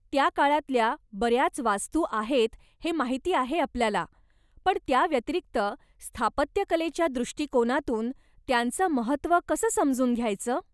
त्या काळातल्या बऱ्याच वास्तू आहेत हे माहिती आहे आपल्याला, पण त्या व्यतिरिक्त, स्थापत्यकलेच्या दृष्टीकोनातून त्यांचं महत्व कसं समजून घ्यायचं?